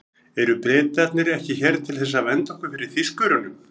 Eru Bretarnir ekki hér til þess að vernda okkur fyrir Þýskurunum?